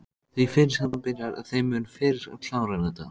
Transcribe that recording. Því fyrr sem þú byrjar þeim mun fyrr klárarðu þetta